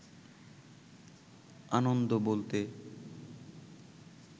আনন্দ বলতে